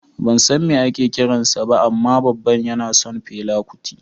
Ban san me ake kiran sa ba amma babana yana son fela kuti